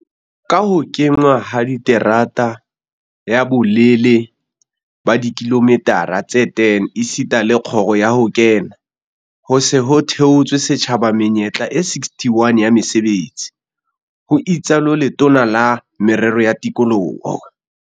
"Ka ho kenngwa ha terata ya bolelele ba dikilomitara tse 10 esita le kgoro ya ho kena, ho se ho theetswe setjhaba menyetla e 61 ya mesebetsi," ho itsalo Letona la Merero ya Tikoloho